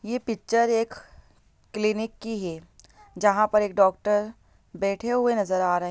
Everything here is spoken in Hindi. ये पिक्चर एक क्लिनिक है जहाँ पर एक डॉक्टर बैठे हुए नज़र आ रहे--